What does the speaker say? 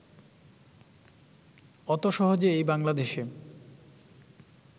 অত সহজে এই বাংলাদেশে